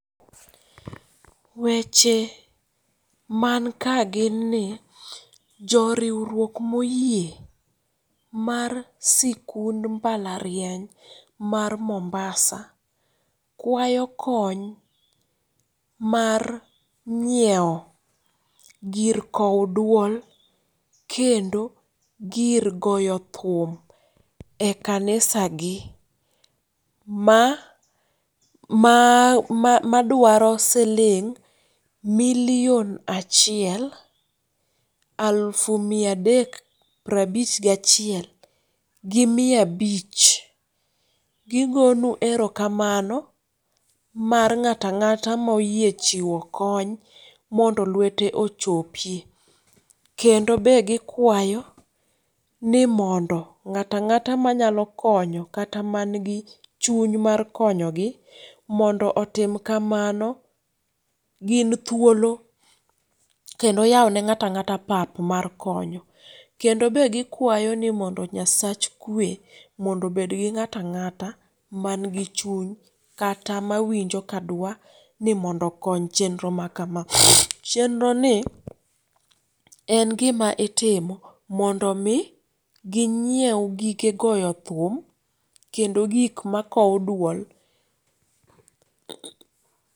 Weche manka ginni joriwruok moyie mar sikund mbalariany mar Mombasa kwayo kony mar nyiewo gir kowo duo kendo gir goyo thum ekanisagi ma maa ma madwaro siling miliyon achiel alufu mia adek prabich gachiel gi mia abich. Gi gonu erokamano mar ng'ata ang'ata moyie chiwo kony mondo lwete ochopie. Kendo be gikwayo ni mondo ng'ata ang'ata manyalo konyo kata mangi chuny mar konyogi mondo otim kamano gin thuolo kendo yawone ng'ata ng'ata pap mar kony. Kendo be gikwayoni mondo Nyasach kwe mondo obedgi ng'ata ang'ata mangi chuny kata mawinjo kadwani mondo okony chenro ma kama. Chenroni en gima itimo mondo mi ginyiew gige goyo thum kendo gik makowo duol.